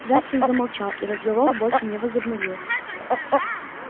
джастин замолчал и разговор больше не возобновился